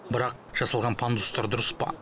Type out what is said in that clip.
бірақ жасалған пандустар дұрыс па